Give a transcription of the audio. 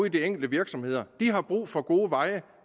i de enkelte virksomheder har brug for gode veje